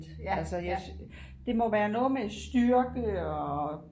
det må være noget med styrke og